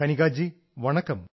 കനികാ ജീ വണക്കം